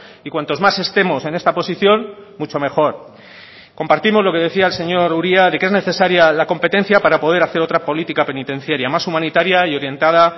y cuantos más estemos en esta posición mucho mejor compartimos lo que decía el señor uria de que es necesaria la competencia para poder hacer otra política penitenciaria más humanitaria y orientada